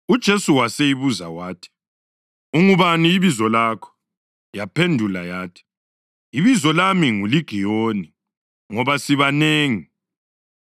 UJesu waseyibuza wathi, “Ungubani ibizo lakho?” Yaphendula yathi, “Ibizo lami nguLigiyoni, ngoba sibanengi.”